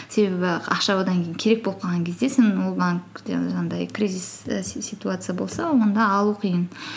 себебі ақша одан кейін керек болып қалған кезде сен ол банк жаңағыдай кризис ситуация болса онда алу қиын